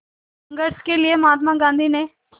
संघर्ष के लिए महात्मा गांधी ने